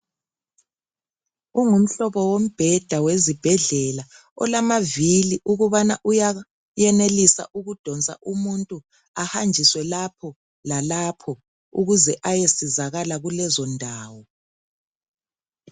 Kungumhlobo wombheda wezibhedlela olamavili ukubana uya yenelisa ukudonsa umuntu ahanjiswe lapha lalapho ukwenzela ukuthi ayesizakala kulezondawo.